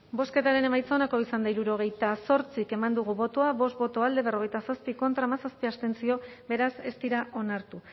bozketaren emaitza onako izan da hirurogeita zortzi eman dugu bozka bost boto alde berrogeita zazpi contra hamazazpi abstentzio beraz ez dira onartu